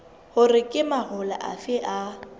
hore ke mahola afe a